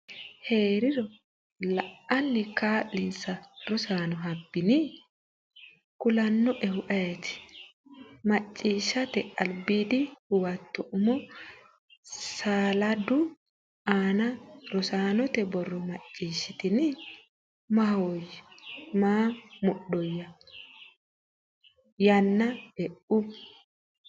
hee’riro la’anni kaa’linsa Rosaano hasaabini? kulannoehu ayeeti? Macciishshate Albiidi Huwato Umo saleedu aana rosaanote borro Macciishshitini? “Maahoyye, ma mudhoyya?” yeenna e’u.